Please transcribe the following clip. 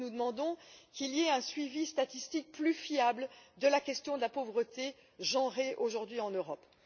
Nous demandons donc qu'il y ait un suivi statistique plus fiable de la question de la pauvreté genrée aujourd'hui en Europe.